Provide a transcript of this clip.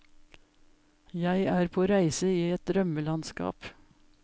Jeg er på reise i et drømmelandskap.